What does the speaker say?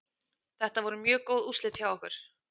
Þetta voru mjög góð úrslit hjá okkur.